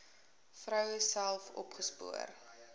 vroue self opgespoor